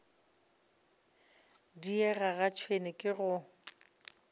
diega ga tšhwene ke go